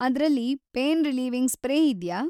ಅದ್ರಲ್ಲಿ pain relieving spray ಇದ್ಯಾ?